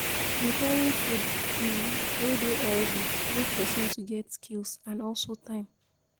preparing food um wey dey healthy need person to get skills and also time